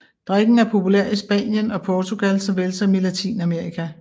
Drikken er populær i Spanien og Portugal såvel som i Latinamerika